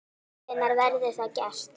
Hvenær verður það gert?